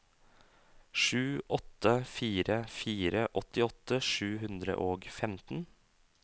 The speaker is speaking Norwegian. sju åtte fire fire åttiåtte sju hundre og femten